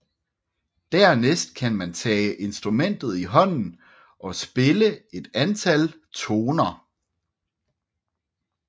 Dernæst kan man tage instrumentet i hånden og spille et antal toner